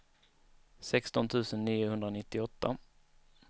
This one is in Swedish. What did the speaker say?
sexton tusen niohundranittioåtta